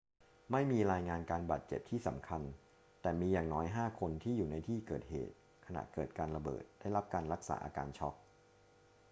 ไม่มีรายงานการบาดเจ็บที่สำคัญ แต่มีอย่างน้อยห้าคนที่อยู่ในที่เกิดเหตุขณะเกิดการระเบิดได้รับการรักษาอาการช็อก